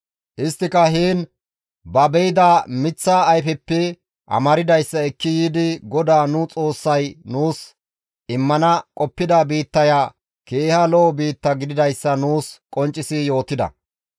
Isttika heen ba be7ida miththaa ayfeppe amardayssa ekki yiidi GODAA nu Xoossay nuus immana qoppida biittaya keeha lo7o biitta gididayssa nuus qonccisi yootida.